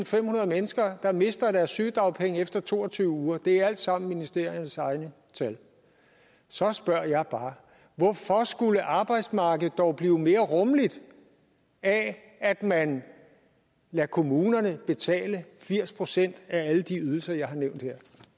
femhundrede mennesker der mister deres sygedagpenge efter to og tyve uger det er alt sammen ministeriernes egne tal så spørger jeg bare hvorfor skulle arbejdsmarkedet dog blive mere rummeligt af at man lader kommunerne betale firs procent af alle de ydelser jeg har nævnt her